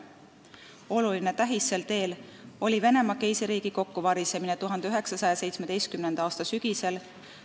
Oluline tähis sel teel oli Venemaa Keisririigi kokkuvarisemine 1917. aasta sügisel.